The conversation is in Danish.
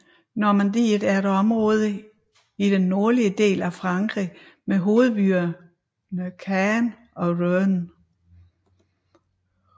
Normandiet er et område i den nordlige del af Frankrig med hovedbyerne Caen og Rouen